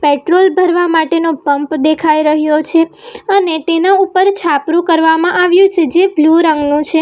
Petrol ભરવા માટેનો pump દેખાઈ રહ્યો છે અને તેના ઉપર છાપરું કરવામાં આવ્યું છે જે બ્લુ રંગનું છે.